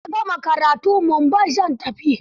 Idan na gama karatu, Mumbai zan tafi.